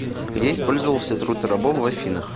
где использовался труд рабов в афинах